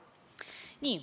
Nii.